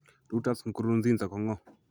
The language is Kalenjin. Reuters Nkurunziza ko ng'o?